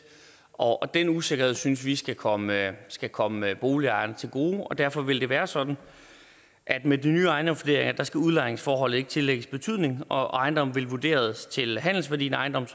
og den usikkerhed synes vi skal komme skal komme boligejerne til gode og derfor vil det være sådan at med de nye ejendomsvurderinger skal udlejningsforholdet ikke tillægges betydning og ejendommen vil blive vurderet til handelsværdien af ejendommen